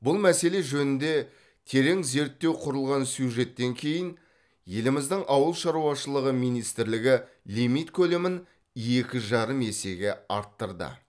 бұл мәселе жөнінде терең зерттеу құрылған сюжеттен кейін еліміздің ауыл шаруашылығы министрлігі лимит көлемін екі жарым есеге арттырды